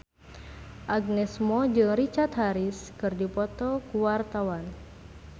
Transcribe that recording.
Agnes Mo jeung Richard Harris keur dipoto ku wartawan